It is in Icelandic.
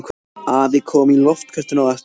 Afi kom í loftköstum á eftir.